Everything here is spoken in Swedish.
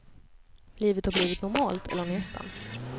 Livet har blivit normalt, eller nästan.